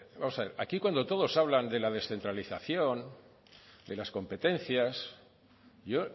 vamos a ver aquí cuando todos hablan de la descentralización de las competencias yo